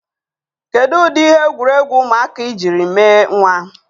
Kedu ụdị ihe egwuregwu ụmụaka ị jiri mee nwa?